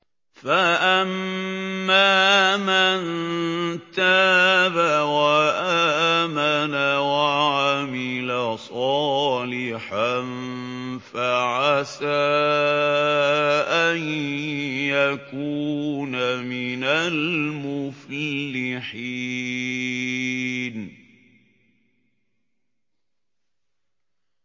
فَأَمَّا مَن تَابَ وَآمَنَ وَعَمِلَ صَالِحًا فَعَسَىٰ أَن يَكُونَ مِنَ الْمُفْلِحِينَ